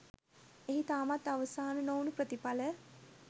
එහි තාමත් අවසාන නොවුනු ප්‍රතිඵල